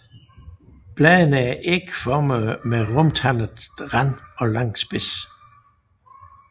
Bladene er ægformede med rundtandet rand og lang spids